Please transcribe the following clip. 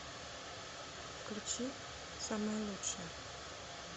включи самая лучшая